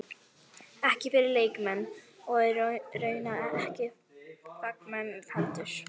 Ekki fyrir leikmenn- og raunar ekki fagmenn heldur.